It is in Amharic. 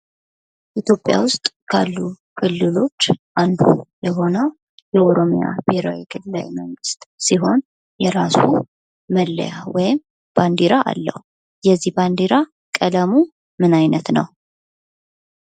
ኢትዮጵያ ውስጥ ካሉ ክልሎች አንዱ የሆነው የኦሮሚያ ብሔራዊ ክልላዊ መንግስት ሲሆን የራሱ መለያ ወይም ባንዲራ አለው። የዚህ ባንዲራ ቀለሙ ምን አይነት ነው?